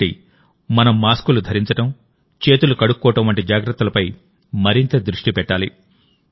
కాబట్టి మనం మాస్కులు ధరించడం చేతులు కడుక్కోవడం వంటి జాగ్రత్తలపై మరింత దృష్టి పెట్టాలి